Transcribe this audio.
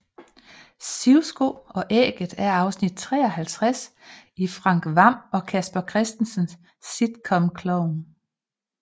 Sivsko og ægget er afsnit 53 i Frank Hvam og Casper Christensens sitcom Klovn